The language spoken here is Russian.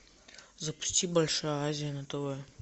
запусти большая азия на тв